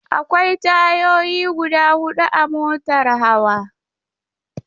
Akwai tayoyi guda hudu a motar hawa.